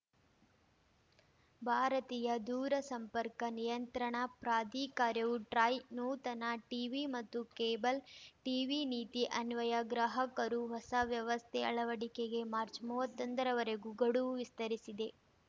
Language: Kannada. ಭಾರತೀಯ ದೂರಸಂಪರ್ಕ ನಿಯಂತ್ರಣಾ ಪ್ರಾಧಿಕಾರವು ಟ್ರಾಯ್‌ ನೂತನ ಟಿವಿ ಮತ್ತು ಕೇಬಲ್‌ ಟಿವಿ ನೀತಿ ಅನ್ವಯ ಗ್ರಾಹಕರು ಹೊಸ ವ್ಯವಸ್ಥೆ ಅಳವಡಿಕೆಗೆ ಮಾರ್ಚ್ ಮೂವತ್ತೊಂದರ ವರೆಗೂ ಗಡುವು ವಿಸ್ತರಿಸಿದೆ